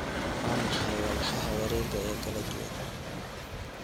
waa maxay walxaha wareega ee kala duwan